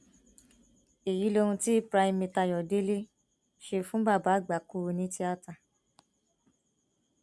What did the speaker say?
èyí lohun tí primate ayọdẹlẹ ṣe fún bàbá àgbákò onítìata